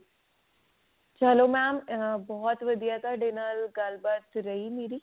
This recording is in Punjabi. ਚਲੋ mam ਬਹੁਤ ਵਧੀਆ ਤੁਹਾਡੇ ਨਾਲ ਗੱਲਬਾਤ ਕਰੀ